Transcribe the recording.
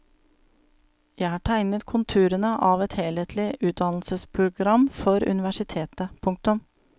Jeg har tegnet konturene av et helhetlig utdannelsesprogram for universitetet. punktum